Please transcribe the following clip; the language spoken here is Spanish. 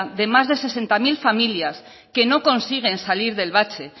de más de sesenta mil familias que no consiguen salir del bache